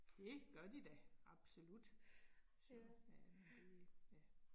Det gør de da absolut, så ja det ja